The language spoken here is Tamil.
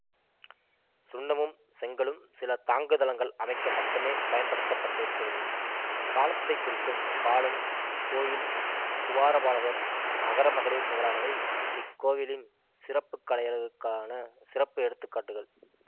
சுண்ணமும் செங்கல்லும் சில தாங்குதளங்கள் அமைக்க மட்டுமே பயன்படுத்த பட்டிருக்கிறது காலத்தை குறிக்கும் காலன் கோயில் துவாரபாலகர் அகரமகளிர் முதலானவை இக்கோயிலின் சிற்பக்கலையழகுக்கான சிறப்ப எடுத்து காட்டுகள்